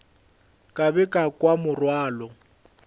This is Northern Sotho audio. ka be ka kwa morwalo